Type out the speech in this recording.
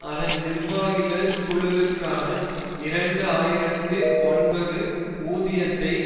அதன் நிர்வாகிகள் குழுவிற்கான இரண்டு ஆயிரத்தி ஒன்பது ஊதியத்தை